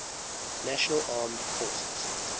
national armed forces